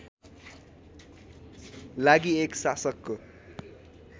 लागि एक शासकको